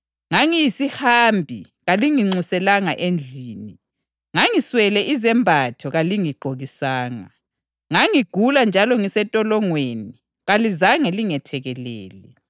Ngoba ngangilambile, kalingiphanga lutho lokudla, ngangomile kalingiphanga lutho lokunatha,